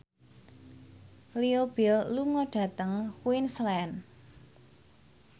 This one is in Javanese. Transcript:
Leo Bill lunga dhateng Queensland